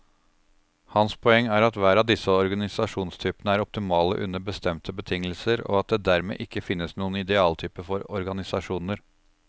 Hans poeng er at hver av disse organisasjonstypene er optimale under bestemte betingelser, og at det dermed ikke finnes noen idealtype for organisasjoner.